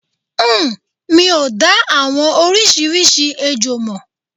Uhm. Mi ò dá àwọn oríṣiríṣi ejò mọ̀.